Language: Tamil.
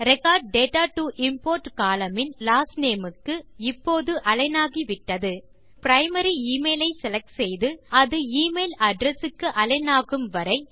record data to import column in last name க்கு இப்போது அலிக்ன் ஆகிவிட்டது இப்போது பிரைமரி எமெயில் ஐ செலக்ட் செய்து அது e மெயில் அட்ரெஸ் க்கு அலிக்ன் ஆகும் வரை